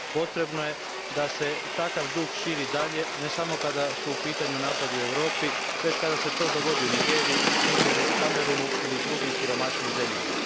Potrebno je da se takav duh širi dalje, ne samo kada su u pitanju napadi u Europi već kada se to dogodi u Nigeriji, Nigeru, Kamerunu ili drugim siromašnijim zemljama.